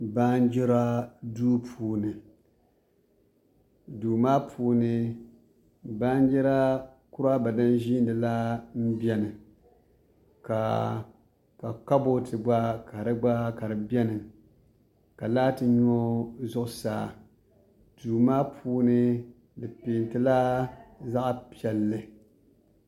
Baanjira duu puuni duu maa puuni baanjira kuraaba din ʒiini la m-beni ka kabooti ɡba ka di ɡba ka di beni ka laati nyo zuɣusaa duu maa puuni di peentila zaɣ' piɛlli